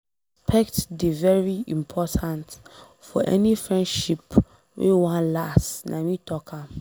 Respect dey very important for any friendship wey wan last nah me talk am.